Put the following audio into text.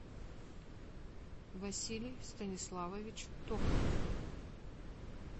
василий станиславович токарев